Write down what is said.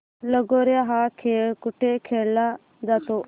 लगोर्या हा खेळ कुठे खेळला जातो